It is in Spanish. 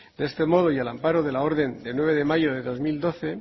de este modo y al amparo de la orden de nueve de mayo de dos mil doce